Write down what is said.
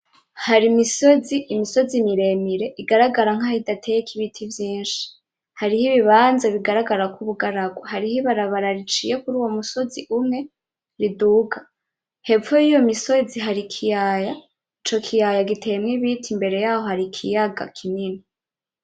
Harimisozi, imisozi miremire igaragara nkaho idateyeko ibiti vyinshi. Haribibanza bigaragara nk'ubugaragwa. Hariho ibarabara riciye kuruwo musozi umwe riduga. Hepfo y'iyo misozi hari ikiyaya. Ico kiyaya giteyemwo ibiti. Imbere y'aho hari ikiyaga kinini.